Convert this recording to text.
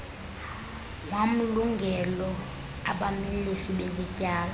wamlungelo abamilisi bezityalo